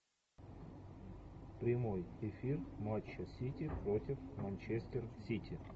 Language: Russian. прямой эфир матча сити против манчестер сити